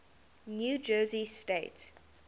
new jersey state